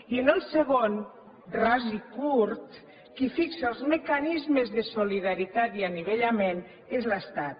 i en el segon ras i curt qui fixa els mecanismes de solidaritat i anivellament és l’estat